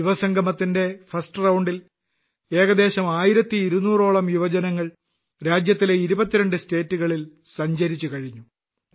യുവസംഗമത്തിന്റെ first round ൽ ഏകദേശം 1200 ഓളം യുവജനങ്ങൾ രാജ്യത്തിലെ 22 സംസ്ഥാനങ്ങളിൽ സഞ്ചരിച്ചുകഴിഞ്ഞു